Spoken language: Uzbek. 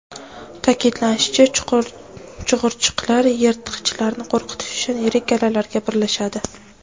Ta’kidlanishicha, chug‘urchiqlar yirtqichlarni qo‘rqitish uchun yirik galalarga birlashadi.